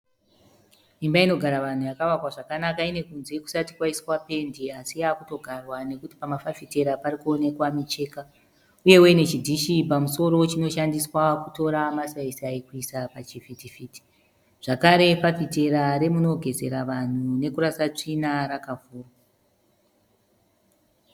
Imba inogaravanhu yakavakwa zvakanaka inekunze kusati kwaiswa pendi asiyakutogarwa nekuti pamafafiti parikuwonekwa micheka. Uye inechidishi pamusoro chinoshandiswa kutora masayisayi kuyisa pachivikiviti. Zvakare fafitera remugezera vanhu nekurasirwa svina rakavurwa.